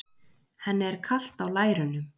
Henni er kalt á lærunum.